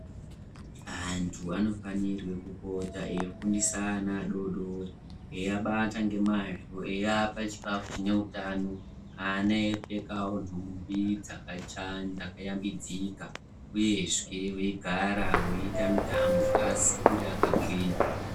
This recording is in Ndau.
Antu anofanirwe kupota eifundisa ana adodori eiabata ngemazvo eiapa chikafu chine utano. Ana eipfekavo nhumbi dzakacha dzakayambidzika, uyezve veigara veiita mitambo kuti dzikure akagwinya.